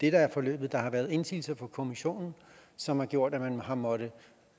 er forløbet at der har været indsigelser fra kommissionen som har gjort at man har måttet